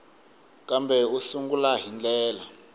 kambe u sungula hi ndlela